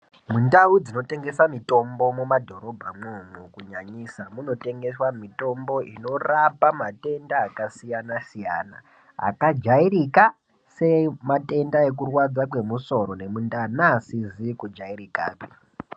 Mundau dzinotengesa. mutombo mumadhorobha mwomwo nyanyisa ,munotengeswa mutombo inorapa matenda akasiyana siyana, akajairika sematenda emusoro nekurwadza kemundani neasizikujairika.